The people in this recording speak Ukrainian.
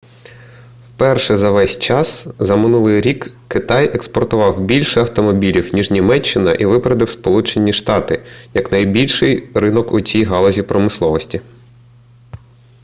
вперше за весь час за минулий рік китай експортував більше автомобілів ніж німеччина і випередив сполучені штати як найбільший ринок у цій галузі промисловості